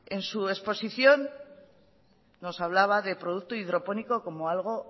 en su exposición nos hablaba de producto hidropónico como algo